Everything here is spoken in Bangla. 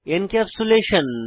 এনক্যাপসুলেশন